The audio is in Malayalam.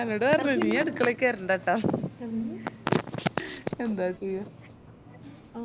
എന്നോട് പറഞ് നീ അടുക്കളെ കേറണ്ടട്ട ന്താ ചെയ്യാ